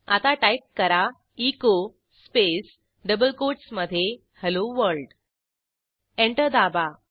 आता टाईप करा echo space double कोटसमधे हेल्लो वर्ल्ड एंटर दाबा